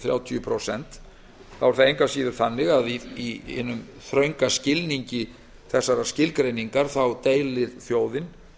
þrjátíu prósent er það engu að síður þannig að í hinum þrönga skilningi þessarar skilgreiningar deilir þjóðin